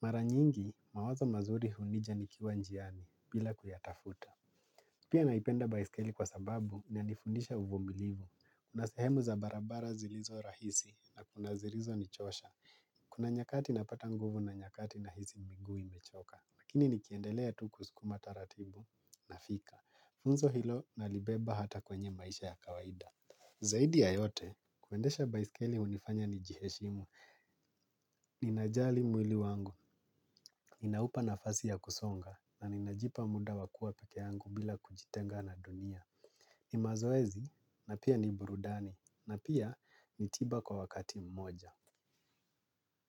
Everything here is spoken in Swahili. Mara nyingi mawazo mazuri hunija nikiwa njiani bila kuyatafuta. Pia naipenda baisikeli kwa sababu ina nifundisha uvumilivu kuna sehemu za barabara zilizo rahisi na kuna zilizo nichosha, kuna nyakati napata nguvu na nyakati na hisi miguu imechoka lakini nikiendelea tu kusukuma taratibu na fika funzo hilo na libeba hata kwenye maisha ya kawaida. Zaidi ya yote, kuendesha baiskeli hunifanya ni jiheshimu, ninajali mwili wangu, inaupa nafasi ya kusonga na ninajipa muda wa kua peke yangu bila kujitenga na dunia. Mazoezi na pia ni burudani na pia ni tiba kwa wakati mmoja.